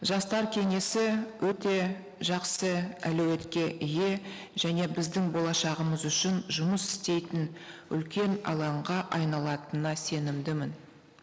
жастар кеңесі өте жақсы әлеуетке ие және біздің болашағымыз үшін жұмыс істейтін үлкен алаңға айналатынына сенімдімін